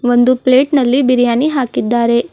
ಒಂದು ಪ್ಲೇಟ್ ನಲ್ಲಿ ಬಿರಿಯಾನಿ ಹಾಕಿದ್ದಾರೆ.